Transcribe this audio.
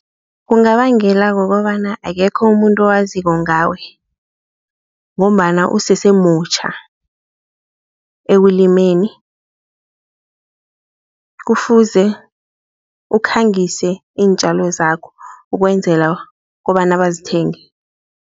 Kungabangela kukobana akekho umuntu owaziko ngawe ngombana usesemutjha, ekulimeni kufuze ukukhangise iintjalo zakho ukwenzela kobana bazithenge.